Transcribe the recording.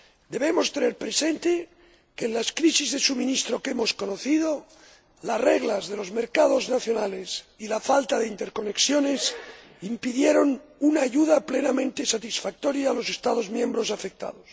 Debemos tener presente que, en las crisis de suministro que hemos conocido, las reglas de los mercados nacionales y la falta de interconexiones impidieron una ayuda plenamente satisfactoria a los Estados miembros afectados.